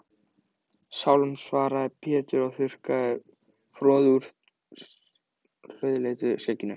Sálm, svaraði Pétur og þurrkaði froðu úr rauðleitu skegginu.